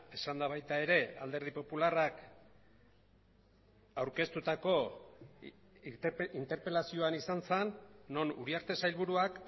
esanda baita ere alderdi popularrak aurkeztutako interpelazioan izan zen non uriarte sailburuak